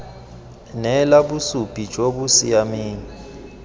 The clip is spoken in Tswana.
neela bosupi jo bo siameng